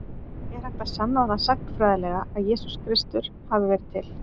Er hægt að sanna það sagnfræðilega að Jesús Kristur hafi verið til?